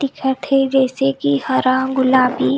दिखत हे जइसे की हरा गुलाबी--